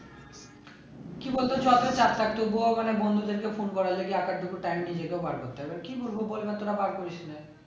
কি বলতো job এর চাপ থাকতো ভোর বেলা বন্ধুদেরকে phone করার একটু time নিজেকেও বার করতে হয়ে এবার কি বলবো বল তোরা বার করিস না